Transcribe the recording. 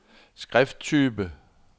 skrifttype